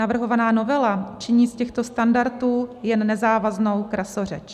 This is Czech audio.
Navrhovaná novela činí z těchto standardů jen nezávaznou krasořeč.